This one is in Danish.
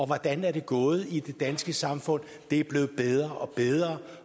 hvordan er det gået i det danske samfund det er blevet bedre og bedre